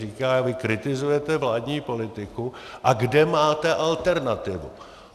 Říká: Vy kritizujete vládní politiku - a kde máte alternativu?